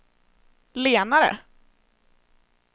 lenare